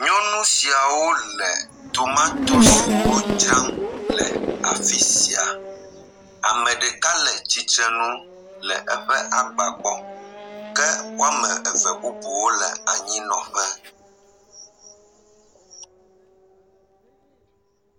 Nyɔnu siawo le tomatosiwo dzram le afi sia. Ame ɖeka le tsitre nu le eƒe agba gbɔ ke woa me eve bubuwo le anyi nɔ ƒe.